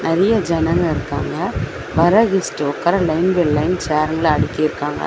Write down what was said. நெறையா ஜனங்க இருக்காங்க வர கெஸ்ட் உக்கார லைன் பை லைன் சேருங்கள அடுக்கிருக்காங்க.